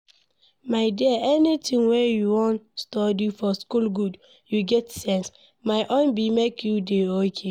My dear, anything wey you wan study for school good, you get sense. My own be make you dey okay.